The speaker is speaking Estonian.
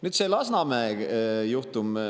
Nüüd see Lasnamäe juhtum.